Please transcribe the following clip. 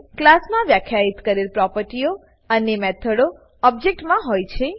ક્લાસમાં વ્યાખ્યિત કરેલ પ્રોપર્ટીઓ અને મેથડો ઓબજેક્ટમાં હોય છે